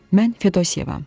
Mən Fedosiyevam.